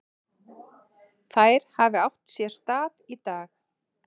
Þær hafi átt sér stað í dag.